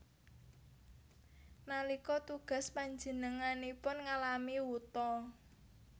Nalika tugas panjenenganipun ngalami wuta